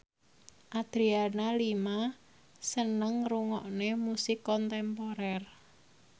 Adriana Lima seneng ngrungokne musik kontemporer